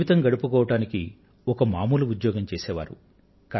జీవితం గడుపుకోవడానికి ఒక మామూలు ఉద్యోగం చేసే వారు